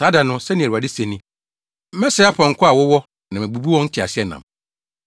“Saa da no,” sɛnea Awurade se ni, “Mɛsɛe apɔnkɔ a wowɔ na mabubu wo nteaseɛnam.